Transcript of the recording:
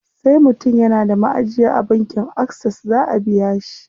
Sai mutum yana da maʼajiya a bankin Access zaʼa biya shi.